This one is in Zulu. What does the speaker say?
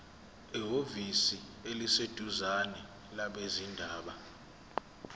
ehhovisi eliseduzane labezindaba